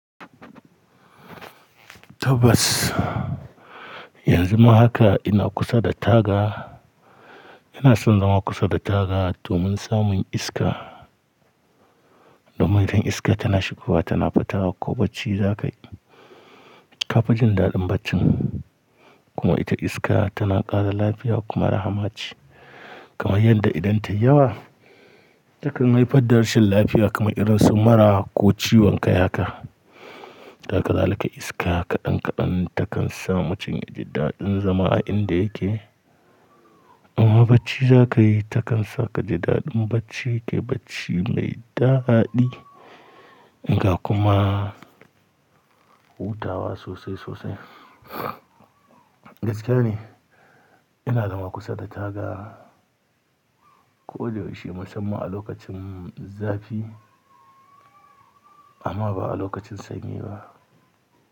Tabbas, yanzu ma haka ina kusa da taga. Ina son zama kusa da taga domin samun iska. Amma idan iska tana shigowa tana fita ko bacci za ka yi, ka fi jin daɗin bacci. Kuma ita iska tana ƙara lafiya kuma raha mace. Kamar yadda idan ta yi yawa takan haifar da rashin lafiya kamar irin su mura ko ciwon kai haka. Duk da haka zalika iska kaɗan kaɗan takan sa mutum yaji daɗin zama a inda yake. Amma bacci za ka yi takan sa ka ji daɗin bacci kai bacci mai daɗi, ga kuma hutawa sosai sosai. Gaskiya ne ina zama kusa da taga ko yaushe musamman a lokacin zafi amma ba a lokacin sanyi ba.